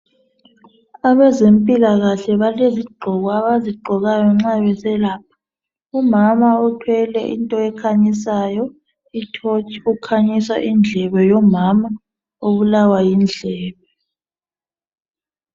Abezempilakahle balezigqoko abazigqokayo nxa beselapha. Umama uthwele into ekhanyisayo ithotshi ukhanyisa indlebe yomama obulawa yindlebe.